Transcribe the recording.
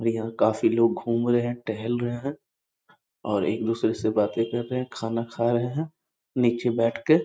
यहां काफी लोग घूम रहे हैं टहल रहे हैं और एक दूसरे से बातें कर रहे हैं खाना खा रहे हैं नीचे बैठ के |